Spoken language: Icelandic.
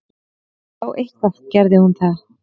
Já, eitthvað gerði hún það.